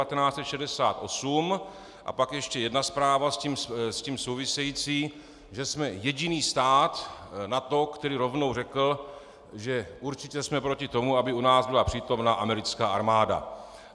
A pak ještě jedna zpráva s tím související, že jsme jediný stát NATO, který rovnou řekl, že určitě jsme proti tomu, aby u nás byla přítomna americká armáda.